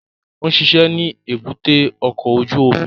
Ó ń ṣiṣẹ́ ní èbúté ọkọ̀ ojú omi